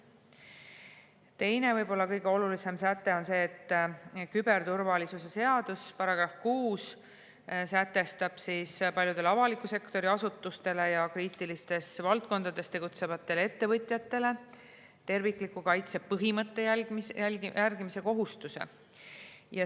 Teine ja võib-olla kõige olulisem säte on see, et küberturvalisuse seadus § 6 sätestab paljudele avaliku sektori asutustele ja kriitilistes valdkondades tegutsevatele ettevõtjatele tervikliku kaitse põhimõtte järgimise kohustuse.